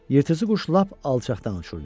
Yırtıcı quş lap alçaqdan uçurdu.